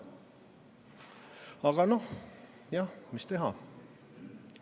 Aga noh, jah, mis teha?